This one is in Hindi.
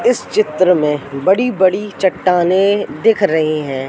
इस चित्र में बड़ी बड़ी चट्टानें दिख रही हैं।